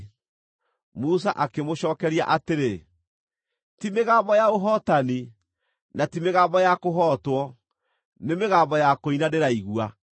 Musa akĩmũcookeria atĩrĩ, “Ti mĩgambo ya ũhootani, na ti mĩgambo ya kũhootwo; nĩ mĩgambo ya kũina ndĩraigua.”